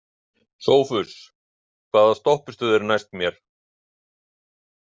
Sófus, hvaða stoppistöð er næst mér?